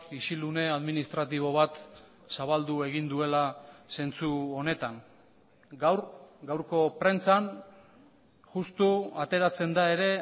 isilune administratibo bat zabaldu egin duela zentzu honetan gaur gaurko prentsan justu ateratzen da ere